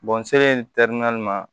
n selen ma